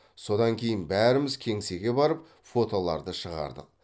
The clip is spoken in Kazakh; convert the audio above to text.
содан кейін бәріміз кеңсеге барып фотоларды шығардық